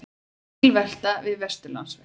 Bílvelta við Vesturlandsveg